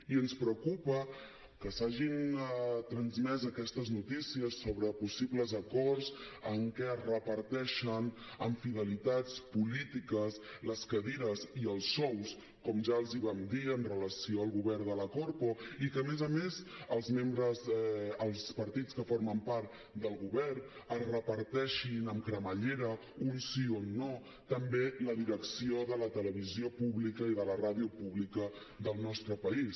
i ens preocupa que s’hagin transmès aquestes notícies sobre possibles acords en què es reparteixen amb fidelitats polítiques les cadires i els sous com ja els vam dir amb relació al govern de la corpo i que a més a més els partits que formen part del govern es reparteixin amb cremallera un sí un no també la direcció de la televisió pública i de la ràdio pública del nostre país